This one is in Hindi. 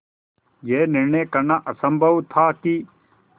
यह निर्णय करना असम्भव था कि